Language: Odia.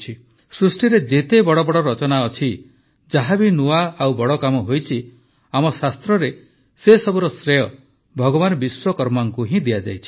ସୃଷ୍ଟିରେ ଯେତେ ବଡ଼ ବଡ଼ ରଚନା ଅଛି ଯାହା ବି ନୂଆ ଓ ବଡ଼ କାମ ହୋଇଛି ଆମ ଶାସ୍ତ୍ରରେ ସେସବୁର ଶ୍ରେୟ ଭଗବାନ ବିଶ୍ୱକର୍ମାଙ୍କୁ ହିଁ ଦିଆଯାଇଛି